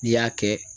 N'i y'a kɛ